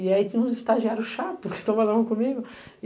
E aí tinha uns estagiários chatos que trabalhavam comigo.